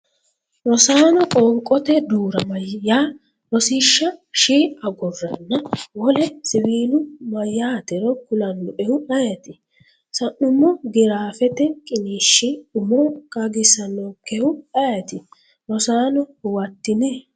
Rosaano, qoonqote duu’rama yaa Rossisha “sh” aggurranna wole siwiilu mayyaatero kulannoehu ayeeti? sa’nummo giraafete qiniishshi umo qaagisannonkehu ayeeti? Rosaano huwattini?